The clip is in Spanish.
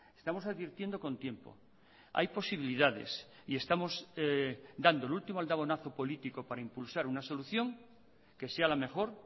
estamos advirtiendo con tiempo hay posibilidades y estamos dando el último aldabonazo político para impulsar una solución que sea la mejor